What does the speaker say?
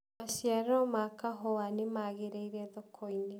maciaro ma kahũa nĩmagiririire thoko-inĩ